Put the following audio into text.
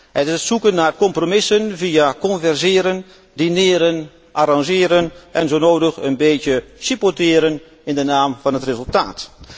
Het is het zoeken naar compromissen via converseren, dineren, arrangeren en zo nodig een beetje supporteren in de naam van het resultaat.